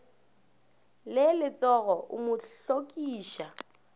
le letsogo o mo hlokiša